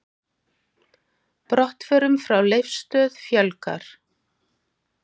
Brottförum frá Leifsstöð fjölgar